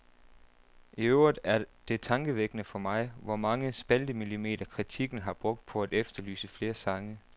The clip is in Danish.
I øvrigt er det tankevækkende for mig, hvor mange spaltemillimeter kritikken har brugt på at efterlyse flere sange.